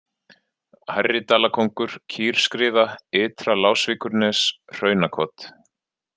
Hærri-Dalakóngur, Kýrskriða, Ytra-Lásvíkurnes, Hraunakot